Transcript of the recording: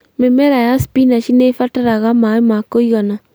Mĩmera ya cpinach nĩ ĩbataraga maĩ ma kũigana